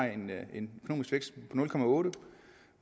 en vækst